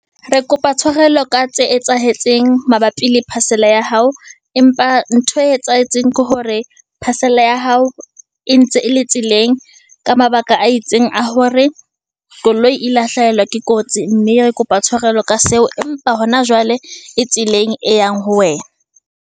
Re kopa tshwarelo ka tse etsahetseng mabapi le parcel-a ya hao, empa ntho e etsahetseng ke hore parcel-a ya hao, e ntse e le tseleng ka mabaka a itseng a hore koloi e la hlahelwa ke kotsi, mme re kopa tshwarelo ka seo. Empa hona jwale e tseleng e yang ho wena.